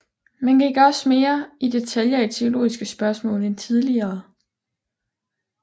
Man gik også mere i detaljer i teologiske spørgsmål end tidligere